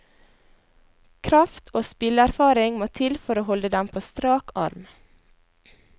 Kraft og spilleerfaring må til for å holde dem på strak arm.